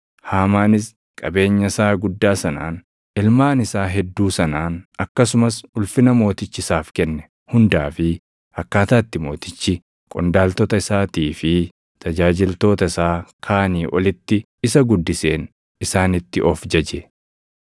Haamaanis qabeenya isaa guddaa sanaan, ilmaan isaa hedduu sanaan akkasumas ulfina mootichi isaaf kenne hundaa fi akkaataa itti mootichi qondaaltota isaatii fi tajaajiltoota isaa kaanii olitti isa guddiseen isaanitti of jaje.